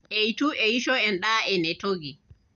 Eitu eisho endaa enetoki.